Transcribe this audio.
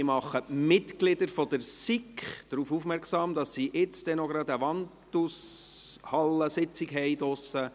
Ich mache die Mitglieder der SiK darauf aufmerksam, dass sie nun gleich in der Wandelhalle eine Sitzung haben werden.